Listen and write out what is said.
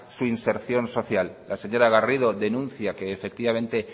su inserción social la señora garrido denuncia que efectivamente